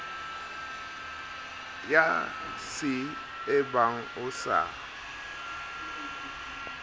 ya c ebang o sa